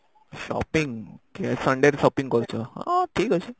shopping sunday ରେ shopping କରୁଚ ହଁ ଠିକ ଅଛି